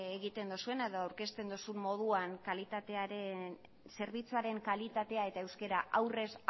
egiten duzuena edo aurkezten duzun moduan zerbitzuaren kalitatea eta euskara aurrez